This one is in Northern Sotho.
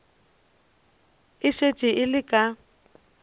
e šetše e le ka